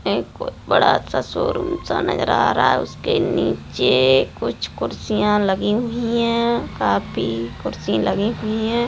एक बड़ा सा शोरूम सा नजर आ रहा है उसके नीचे कुछ कुर्सियां लगी हुई है काफी कुर्सी लगी हुई है।